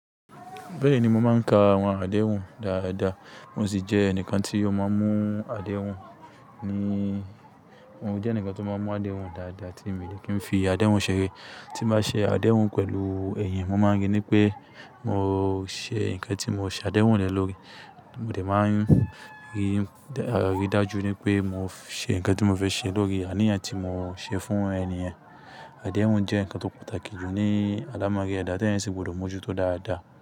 Bẹ́ẹ̀ni, mo máa ń ka àwọn àdéhùn dáadáa, mo sì jẹ́ ẹnìkan tí ó máa ń mú àdéhùn. Ni, mo jẹ́ ẹnìkan tó máa ń mú àdéhùn dáadáa ti mi dè kí n fi àdéhùn ṣeré. Tí bá ṣe àdéhùn pẹ̀lú ẹ̀yìn, mo máa ń rí i ní pé mo ṣe nǹkan tí mo ṣe àdéhùn le lórí. Mo dè máa ń rí i aridájú ní pé mo ṣe nǹkan tí mo fẹ́ ṣe lórí aniyan tí mo ṣe fún ènìyen. Àdéhùn jẹ́ nǹkan tó pàtàkì jù ní adámárí ẹ̀dá tí eyan sì gbọdọ̀ mú ojú tó dáadáa.